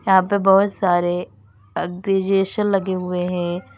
यहां पे बहुत सारे एग्रीजेशन लगे हुए हैं।